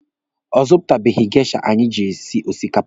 Ọ zụtabeghi geisha anyị ji esi osikapa.